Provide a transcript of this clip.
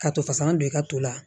Ka to fasalan don i ka to la